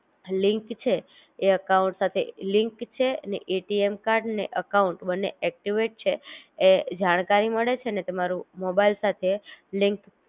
link છે એ account સાથે લિન્ક છે અને એટીએમ કાર્ડ ને અકાઉંટ બંને ઍક્ટિવેટ છે એ જાણકારી મળે છે અને તમારું મોબાઈલ સાથે